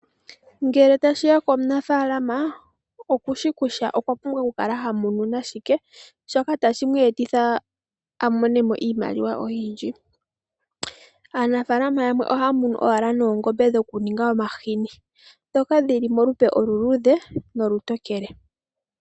Ngele tashi ya komunafalama oku shi kusha okwa pumbwa okukala ha munu nashike, shoka tashi mu etitha a mone mo iimaliwa oyindji. Aanafalama ohaya munu owala noongombe dhoku ninga omahini dhoka dhili molupe oluluudhe nolutokele.